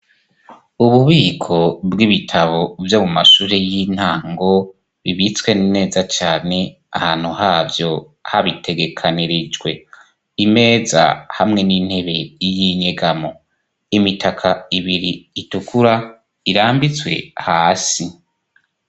Ububiko bw'ibitabo vyo mu mashure y'intango bibitswe neza cane ahantu havyo habitegekanirijwe. Imeza hamwe n'intebe y'inyegamo. Imitaka ibiri itukura irambitswe hasi.